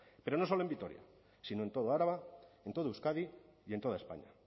pero no solo en vitoria sino en toda araba en toda euskadi y en toda españa